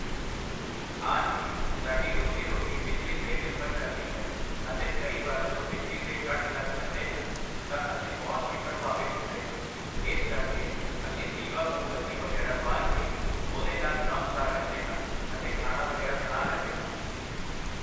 ਹਾਂ ਜੀ, ਸਾਡੀ ਰੋਜ਼ੀ ਰੋਟੀ ਬਿਜਲੀ 'ਤੇ ਨਿਰਭਰ ਕਰਦੀ ਹੈ ਅਤੇ ਕਈ ਵਾਰ ਜਦੋਂ ਬਿਜਲੀ ਦੇ ਕੱਟ ਲੱਗ ਜਾਂਦੇ ਹਨ ਤਾਂ ਅਸੀਂ ਬਹੁਤ ਹੀ ਪ੍ਰਭਾਵਿਤ ਹੁੰਦੇ ਹਾਂ ਇਸ ਕਰਕੇ ਅਸੀਂ ਦੀਵਾ ਮੋਮਬੱਤੀ ਵਗ਼ੈਰਾ ਵਾਲ ਕੇ ਉਹਦੇ ਨਾਲ਼ ਕੰਮ ਸਾਰ ਲੈਂਦੇ ਹਾਂ ਅਤੇ ਖਾਣਾ ਵਗ਼ੈਰਾ ਬਣਾ ਲੈਂਦੇ ਹਾਂ।